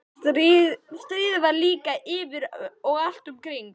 En stríðið var líka yfir og allt um kring.